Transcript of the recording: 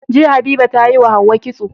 Jiya habiba tayi wa hauwa kitso